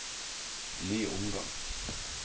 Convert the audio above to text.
ny omgang